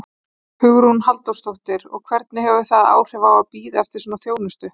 Hugrún Halldórsdóttir: Og hvernig hefur það áhrif að, að bíða eftir svona þjónustu?